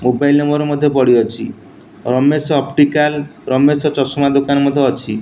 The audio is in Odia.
ମୋବାଇଲ ରେ ମୋର ମଧ୍ୟ୍ୟ ପଡି ଅଛି ରମେଶ ଅପ୍ଟିକଲ ରମେଶ ଚଷମା ଦୋକାନ ମଧ୍ୟ୍ୟ ଅଛି।